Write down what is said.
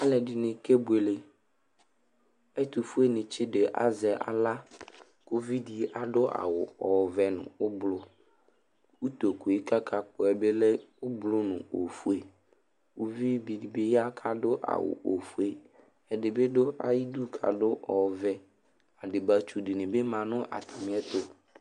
Alʋɛdɩnɩ kebuele Ɛtʋfuenɩ tsɩ dɩ azɛ aɣla kʋ uvi dɩ adʋ awʋ ɔvɛ nʋ ʋblʋ Utoku yɛ kʋ akapɔ yɛ bɩ lɛ ʋblʋ nʋ ofue Uvi dɩ bɩ ya kʋ adʋ awʋ ofue Ɛdɩ bɩ dʋ ayidu kʋ adʋ ɔvɛ Adɩbatsu dɩnɩ bɩ ma nʋ atamɩɛtʋ